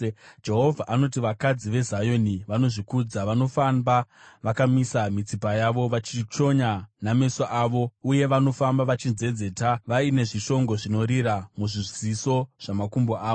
Jehovha anoti, “Vakadzi veZioni vanozvikudza, vanofamba vakamisa mitsipa yavo. Vachichonya nameso avo, uye vanofamba vachinzenzeta, vaine zvishongo zvinorira muzviziso zvamakumbo avo.